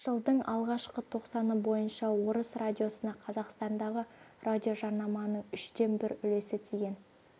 жылдың алғашқы тоқсаны бойынша орыс радиосына қазақстандағы радиожарнаманың үштен бір үлесі тиген